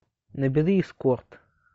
набери эскорт